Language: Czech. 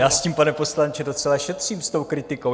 Já s tím, pane poslanče, docela šetřím, s tou kritikou.